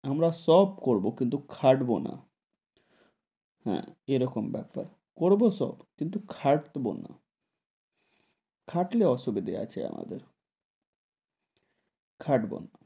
আমরা সব করবো কিন্তু খাটবো না, হেঁ, এরকম বেপার, করবো সব কিন্তু খাটবো না, খাটলে অসুবিধে আছে আমাদের, খাটবো না,